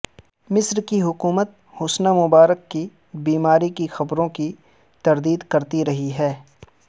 مصر کی حکومت حسنی مبارک کی بیماری کی خبروں کی تردید کرتی رہی ہے